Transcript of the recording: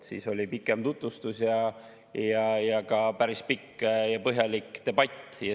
Siis oli pikem tutvustus ning ka päris pikk ja põhjalik debatt.